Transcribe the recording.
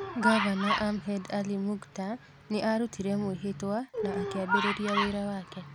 ngavana Ahmed Ali Muktar nĩ arutĩte mwĩhĩtwa na akambĩrĩria wĩra wake.